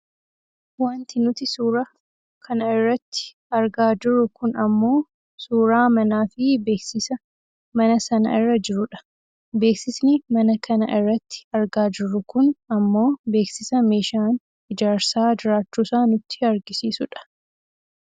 Wanti nuti suuraa kana irratti argaa jirru kun ammoo suuraa manaafi beeksisa mana sana irra jirudha. Beeksisni mana kana irratti argaa jirru kun ammoo beeksisa meeshaan ijaarsaa jiraachuusaa nutti agarsiisudha.